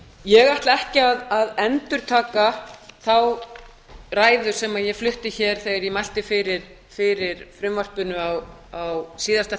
ég ætla ekki að endurtaka þá ræðu sem ég flutti hér þegar ég mælti fyrir frumvarpinu á síðasta